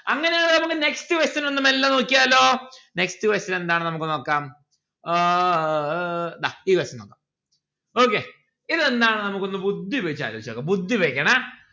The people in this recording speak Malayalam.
അങ്ങനെയാണ് നമ്മക്ക് next question ഒന്ന് മെല്ലെ നോക്കിയാലോ next question എന്താണ് നമ്മുക്ക് നോക്കാം ഏർ ദാ ഈ question നോക്കാം okay ഇതെന്താണ് നമുക്കൊന്ന് ബുദ്ധി ഉപയോഗിച്ച്‌ ആലോചിച്ചോക്കാം ബുദ്ധി ഉപയോഗിക്കണേ